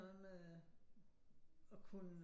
Noget med at kunne